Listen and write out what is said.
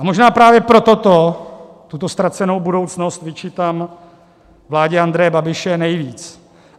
A možná právě proto to, tuto ztracenou budoucnost, vyčítám vládě Andreje Babiše nejvíc.